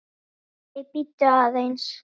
Nei, bíddu aðeins!